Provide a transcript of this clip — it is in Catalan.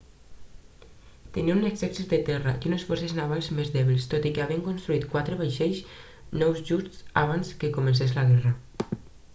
tenia un exèrcit de terra i unes forces navals més dèbils tot i que havien construït quatre vaixells nous just abans que comencés la guerra